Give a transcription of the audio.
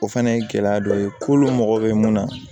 O fana ye gɛlɛya dɔ ye kolon mago bɛ mun na